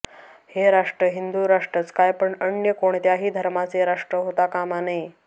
हे राष्ट्र हिंदू राष्ट्रच काय पण अन्य कोणत्याही धर्माचे राष्ट्र होता कामा नये